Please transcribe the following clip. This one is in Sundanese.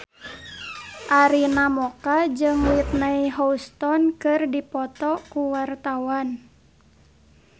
Arina Mocca jeung Whitney Houston keur dipoto ku wartawan